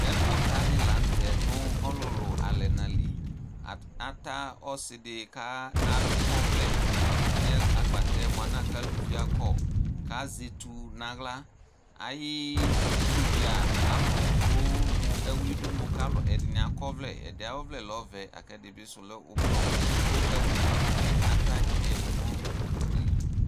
Ɛkʋta dɩ la n'tɛ nʋ ɔlʋlʋ alɛna li Ata ɔsɩ dɩ ka a akɔvlɛ n'agbatɛ mu alɛna yɛ aluvi akɔ, k'azɛ eti n'aɣla Ayidu bɩ aa alʋ dʋ mʋ ɛwlɩ dini, kalʋ ɛdɩnɩ akɔvlɛ, ɛdɩ ayɔvlɛ lɛ ɔvɛ, ɛdɩ bɩ dʋ lɛ ʋblɔ, kʋ kpoku bɩ ata yǝdʋ nʋ ugli